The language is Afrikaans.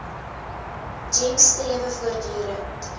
gems strewe voortdurend